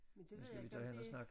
Men det ved jeg ikke rigtig